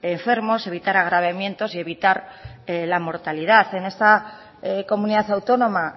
enfermos evitar agravamientos y evitar la mortalidad en esta comunidad autónoma